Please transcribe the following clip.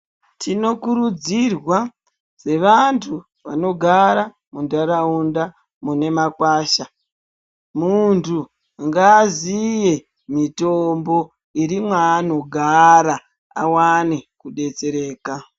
Tino kurudzirwa sevandu vanogara mundaraunda mune makwasha mundu ngaaziye mitombo iri ma ano gara awane kubetsereka.